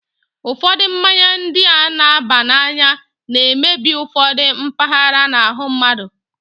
Ụfọdụ mmanya ndị a na-aba n'anya na-emebi ụfọdụ mpaghara n'ahụ mmadụ.